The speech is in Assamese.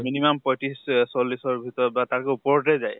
minimum পঁইত্ৰিছ অ চল্লিছৰ ভিতৰত বা তাকো ওপৰতে যায়